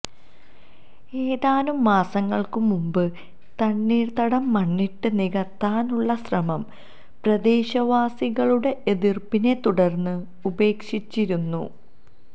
ഏതാനും മാസങ്ങള്ക്കു മുന്പ് തണ്ണീര്ത്തടം മണ്ണിട്ട് നികത്താനുള്ള ശ്രമം പ്രദേശവാസികളുടെ എതിര്പ്പിനെ തുടര്ന്ന് ഉപേക്ഷിച്ചിരുന്നു